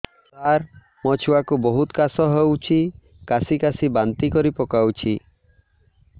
ସାର ମୋ ଛୁଆ କୁ ବହୁତ କାଶ ହଉଛି କାସି କାସି ବାନ୍ତି କରି ପକାଉଛି